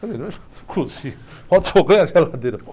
Falei lógico que eu consigo, falta fogão e a geladeira.